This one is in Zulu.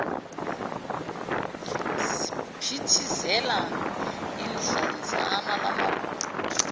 siyaphithizela idlanzana lamabutho